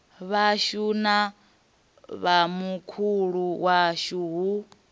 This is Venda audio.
vhashu na vhomakhulu washu hu